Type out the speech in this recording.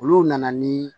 Olu nana ni